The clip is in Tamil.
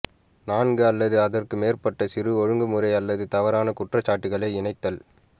நான்கு அல்லது அதற்கு மேற்பட்ட சிறு ஒழுங்குமுறை அல்லது தவறான குற்றச்சாட்டுக்களை இணைத்தல்